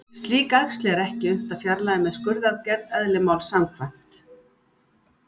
Slík æxli er ekki unnt að fjarlægja með skurðaðgerð, eðli máls samkvæmt.